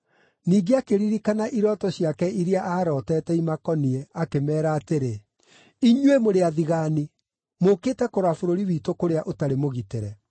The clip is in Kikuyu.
Ningĩ akĩririkana irooto ciake iria aarootete imakoniĩ, akĩmeera atĩrĩ, “Inyuĩ mũrĩ athigaani! Mũũkĩte kũrora bũrũri witũ kũrĩa ũtarĩ mũgitĩre.”